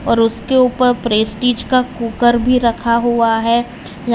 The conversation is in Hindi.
और उसके ऊपर प्रेस्टीज का कुकर भी रखा हुआ है।